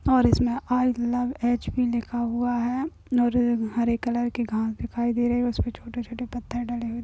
और इसमें आईलवएचपि लिखा हुआ है और अ हरे कलर के घास दिखाई दे रहे है उस पे छोटे छोटे पत्थर डले हुए --